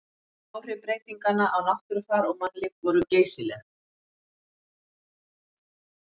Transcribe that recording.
Áhrif breytinganna á náttúrufar og mannlíf voru geysileg.